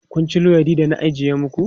Kun ci luwaiɗin da na ajiyar maku?